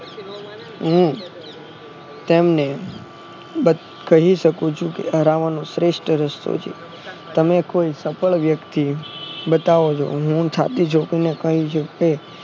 હું તેમને કહી શકું છુ કે હરાવાનો શ્રેષ્ઠ રસ્તો છે તમે કોઈ સફળ વ્યક્તિ ઓ બતાઓ હું છાતી ઠોકીને કહીશ કે